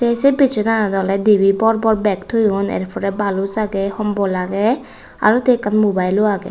tey say besonanot ola debay bor bor bag toyoun ar pora balose agey hombol agey aro ta mobile lo agey.